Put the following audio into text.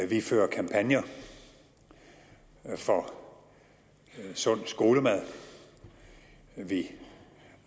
vi fører kampagner for sund skolemad vi